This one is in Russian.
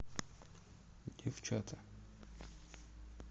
девчата